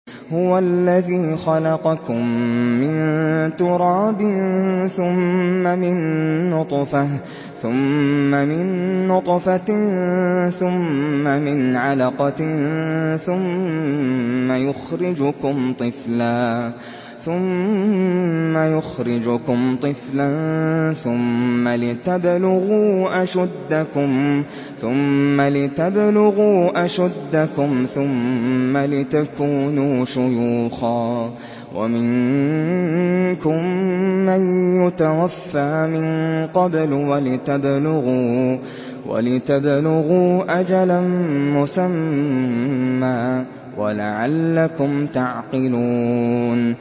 هُوَ الَّذِي خَلَقَكُم مِّن تُرَابٍ ثُمَّ مِن نُّطْفَةٍ ثُمَّ مِنْ عَلَقَةٍ ثُمَّ يُخْرِجُكُمْ طِفْلًا ثُمَّ لِتَبْلُغُوا أَشُدَّكُمْ ثُمَّ لِتَكُونُوا شُيُوخًا ۚ وَمِنكُم مَّن يُتَوَفَّىٰ مِن قَبْلُ ۖ وَلِتَبْلُغُوا أَجَلًا مُّسَمًّى وَلَعَلَّكُمْ تَعْقِلُونَ